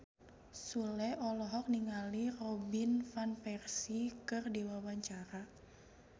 Sule olohok ningali Robin Van Persie keur diwawancara